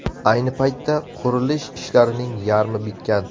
Ayni paytda qurilish ishlarining yarmi bitgan.